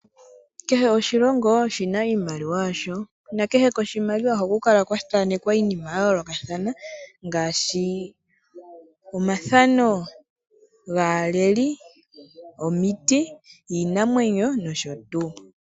Kehe oshilongo oshina iimaliwa yasho nakehe koshimaliwa ohaku kala kwathanekwa iinima yayoolokathana, ngaashi omathano gaaleli, omiti, iinamwenyo nosho tuu.